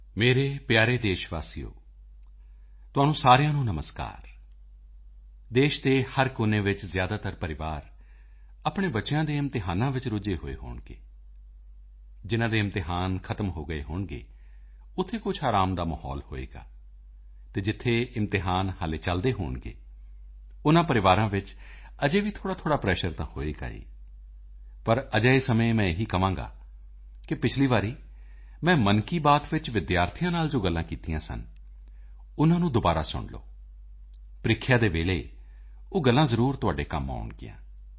ਮੇਰੇ ਪਿਆਰੇ ਦੇਸ਼ ਵਾਸੀਓ ਤੁਹਾਨੂੰ ਸਾਰਿਆਂ ਨੂੰ ਨਮਸਕਾਰ ਦੇਸ਼ ਦੇ ਹਰ ਕੋਨੇ ਵਿੱਚ ਜ਼ਿਆਦਾਤਰ ਪਰਿਵਾਰ ਆਪਣੇ ਬੱਚਿਆਂ ਦੇ ਇਮਤਿਹਾਨਾਂ ਵਿੱਚ ਰੁੱਝੇ ਹੋਏ ਹੋਣਗੇ ਜਿਨ੍ਹਾਂ ਦੇ ਇਮਤਿਹਾਨ ਖਤਮ ਹੋ ਗਏ ਹੋਣਗੇ ਉੱਥੇ ਕੁਝ ਆਰਾਮ ਦਾ ਮਾਹੌਲ ਹੋਵੇਗਾ ਅਤੇ ਜਿੱਥੇ ਇਮਤਿਹਾਨ ਹਾਲੇ ਚੱਲਦੇ ਹੋਣਗੇ ਉਨ੍ਹਾਂ ਪਰਿਵਾਰਾਂ ਵਿੱਚ ਅਜੇ ਵੀ ਥੋੜ੍ਹਾ ਬਹੁਤ ਪ੍ਰੈਸ਼ਰ ਤਾਂ ਹੋਵੇਗਾ ਹੀ ਪਰ ਅਜਿਹੇ ਸਮੇਂ ਮੈਂ ਇਹੀ ਕਹਾਂਗਾ ਕਿ ਪਿਛਲੀ ਵਾਰੀ ਮੈਂ ਮਨ ਕੀ ਬਾਤ ਵਿੱਚ ਵਿਦਿਆਰਥੀਆਂ ਨਾਲ ਜੋ ਗੱਲਾਂ ਕੀਤੀਆਂ ਸਨ ਉਨ੍ਹਾਂ ਨੂੰ ਦੁਬਾਰਾ ਸੁਣ ਲਓ ਪ੍ਰੀਖਿਆ ਦੇ ਵੇਲੇ ਉਹ ਗੱਲਾਂ ਜ਼ਰੂਰ ਤੁਹਾਡੇ ਕੰਮ ਆਉਣਗੀਆਂ